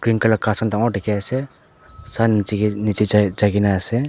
ghas khan dangor dikhiase aro sun nic nichae jailae na ase.